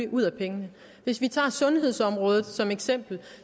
ud af pengene hvis man tager sundhedsområdet som et eksempel